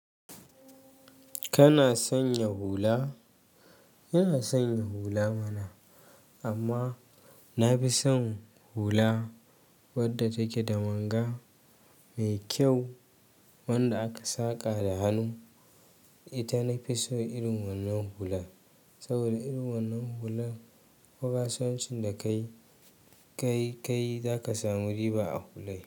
Kana sanya hula? Ina sanya hula mana. Amma na fi son hula wadda take da manga mai kyau wanda aka saƙa da hannu. Ita nafi so irin wannan hula, saboda irin wannan hula ko kasuwancin da ka yi, ka yi, ka yi za ka samu riba a hulai.